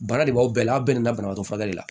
Bana de b'aw bɛɛ la aw bɛɛ nana banabaatɔ furakɛli la